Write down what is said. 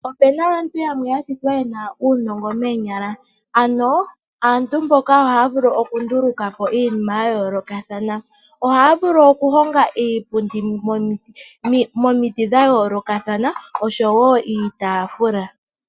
Opuna aantu yamwe yashitwa ye na uunongo moonyala. Aantu mboka ohaya vulu okunduluka po iinima ya yoolokathana. Ohaya vulu okuhonga iipundi momiti dha yoolokathana oshowo iitaafula.